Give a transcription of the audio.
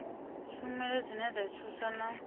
tshumelo dzine dza thusa na